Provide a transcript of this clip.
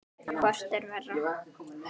Hvort er verra?